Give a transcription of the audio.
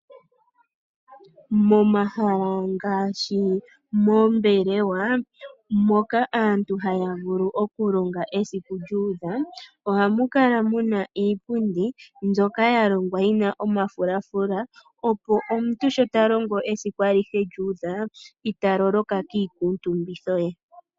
Momahala ngaashi moombelewa moka aantu haya vulu okulonga esiku lyuudha ohamu kala muna iipundi mbyoka ya longwa yi na omafulafula opo omuntu sho talongo esiku alihe lyuudha italoloka kiikuutumbitho ye.